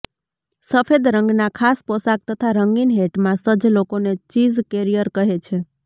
સફેદ રંગના ખાસ પોશાક તથા રંગીન હૅટમાં સજ્જ લોકોને ચીઝ કૅરિયર કહે છે